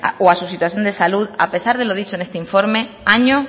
o a su situación de salud a pesar de lo dicho en este informe año